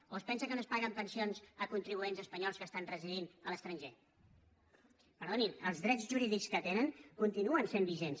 o es pensa que no es paguen pensions a contribuents espanyols que estan residint a l’estranger perdonin els drets jurídics que tenen continuen sent vigents